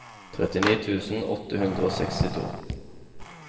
trettini tusen åtte hundre og sekstito